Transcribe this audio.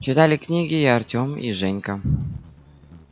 читали книги и артём и женька